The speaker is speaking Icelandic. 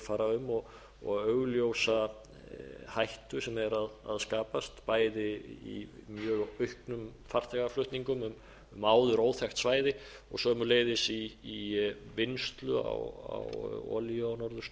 fara um og augljósa hættu sem er að skapast bæði í mjög auknum farþegaflutningum um áður óþekkt svæði og sömuleiðis í vinnslu á olíu á